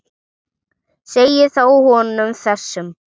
Segið þá honum þessum.